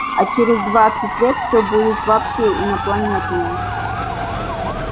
а через двадцать лет всё будет вообще инопланетное